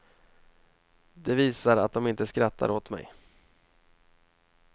Det visar att de inte skrattar åt mig.